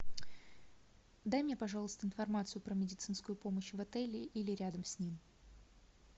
дай мне пожалуйста информацию про медицинскую помощь в отеле или рядом с ним